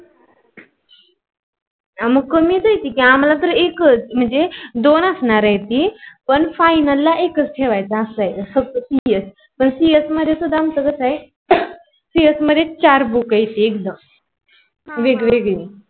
मग कमिस आहे की आम्हाला तर एक मंजे दोन असणार आहे की पण फाईनला एकस ठेवायचा असाच फकथ CS पण कस CS मध्ये सुद्धा आमच कस आहे. सिएस मध्येस चार बुक आहे. एकत वेगवेगळा